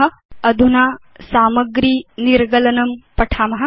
अधुना LibreOffice Calc मध्ये सामग्री निर्गलनं कथमिति पठाम